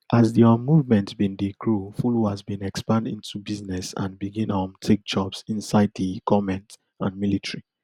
as di um movement bin dey grow followers bin expand into business and begin um take jobs inside di goment and military